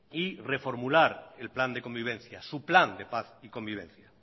y reformular el plan de convivencia su plan de paz y convivencia